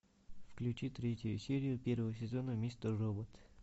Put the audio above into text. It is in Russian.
включи третью серию первого сезона мистер робот